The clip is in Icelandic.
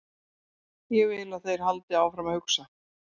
Ég vil að þeir haldi áfram að hugsa.